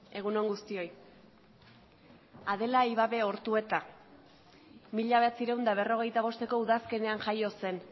egun on guztioi adela ibabe ortueta mila bederatziehun eta berrogeita bosteko udazkenean jaio zen